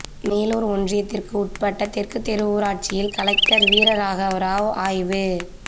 மேலூர் ஒன்றியத்திற்குட்பட்ட தெற்குதெரு ஊராட்சியில் கலெக்டர் வீரராகவராவ் ஆய்வு